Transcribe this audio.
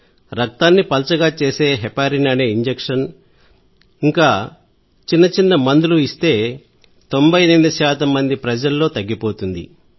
రక్తాన్ని పల్చగా చేసే హెపారిన్ అనే ఇంజెక్షన్ మొదలైన చిన్నచిన్న మందులు ఇస్తే 98 మంది ప్రజల్లో తగ్గిపోతుంది